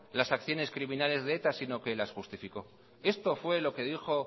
las acciones criminales de eta sino que las justificó esto fue lo que dijo